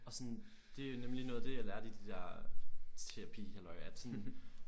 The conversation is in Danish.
Og sådan det er nemlig noget af det jeg lærte i det der terapi halløj at